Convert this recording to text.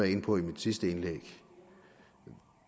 inde på i mit sidste indlæg